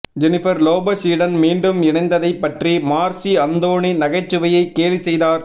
Jennifer லோபஸுடன் மீண்டும் இணைந்ததைப் பற்றி மார்சி அந்தோனி நகைச்சுவையை கேலி செய்தார்